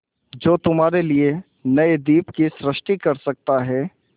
जो तुम्हारे लिए नए द्वीप की सृष्टि कर सकता है